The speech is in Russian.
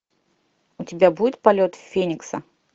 у тебя будет полет феникса